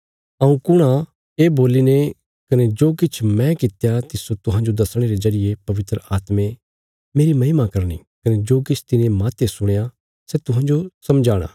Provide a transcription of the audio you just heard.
हऊँ कुण आ ये बोलीने कने जो किछ मैं कित्या तिस्सो तुहांजो दसणे रे जरिये पवित्र आत्मे मेरी महिमा करनी कने जो किछ तिने माहते सुणया सै तुहांजो समझाणा